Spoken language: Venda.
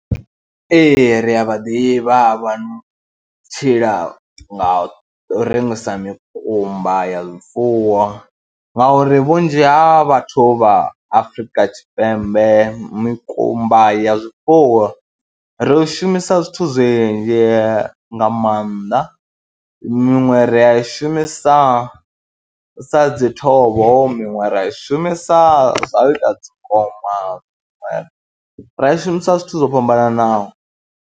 Ee, ri a vha ḓivha vha tshila nga u rengisa mikumba ya zwifuwo ngauri vhunzhi ha vhathu vha Afrika Tshipembe mikumba ya zwifuwo ri shumisa zwithu zwinzh nga maanḓa, miṅwe ri a i shumisa sa dzi thovho, miṅwe ra i shumisa zwa u ita dzi ngoma, ra i shumisa zwithu zwo fhambananaho.